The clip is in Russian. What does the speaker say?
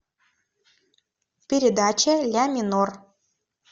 передача ля минор